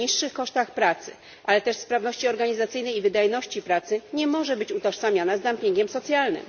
na niższych kosztach pracy, ale też sprawności organizacyjnej i wydajności pracy nie może być utożsamiana z dumpingiem socjalnym.